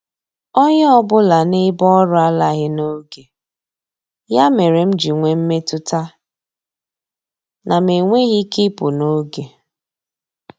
Onye ọbụla n'ebe ọrụ alaghị n'oge, ya mere m ji nwee mmetụta na m enweghị ike ịpụ n'oge.